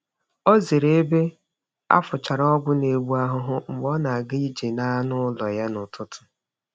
Ọ zere ebe a fụchara ọgwụ na-egbu ahụhụ mgbe ọ na-aga ije na anụ ụlọ ya n’ụtụtụ.